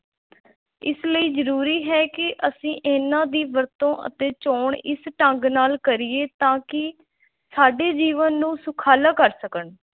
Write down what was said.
ਇਸ ਲਈ ਜ਼ਰੂਰੀ ਹੈ ਕਿ ਅਸੀਂ ਇਹਨਾਂ ਦੀ ਵਰਤੋਂ ਅਤੇ ਚੋਣ ਇਸ ਢੰਗ ਨਾਲ ਕਰੀਏ ਤਾਂ ਕਿ ਸਾਡੇ ਜੀਵਨ ਨੂੰ ਸੁਖਾਲਾ ਕਰ ਸਕਣ।